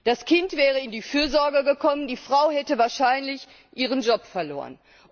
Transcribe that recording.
Das Kind wäre in die Fürsorge gekommen, die Frau hätte wahrscheinlich ihren Job verloren.